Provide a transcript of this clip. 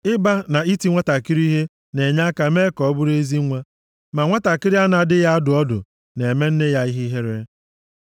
Ịba mba na iti nwantakịrị ihe na-enye aka mee ka ọ bụrụ ezi nwa, ma nwantakịrị a na-adịghị adụ ọdụ na-eme nne ya ihe ihere.